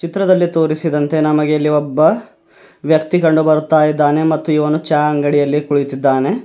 ಚಿತ್ರದಲ್ಲಿ ತೋರಿಸಿದಂತೆ ನಮಗೆ ಒಬ್ಬ ವ್ಯಕ್ತಿ ಕಂಡು ಬರುತ್ತಾ ಇದ್ದಾನೆ ಮತ್ತು ಇವನು ಚಾ ಅಂಗಡಿಯಲ್ಲಿ ಕುಳಿತಿದ್ದಾನೆ.